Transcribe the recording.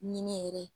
Ɲinɛ yɛrɛ